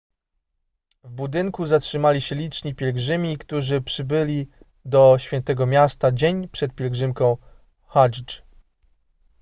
w budynku zatrzymali się liczni pielgrzymi którzy przybyli do świętego miasta dzień przed pielgrzymką hadżdż